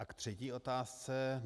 A k třetí otázce.